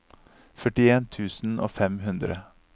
førtien tusen og fem hundre